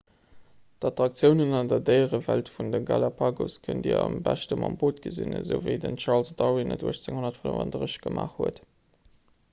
d'attraktiounen an der déierewelt vun de galapagos kënnt dir am beschte mam boot gesinn esou wéi den charles darwin et 1835 gemaach huet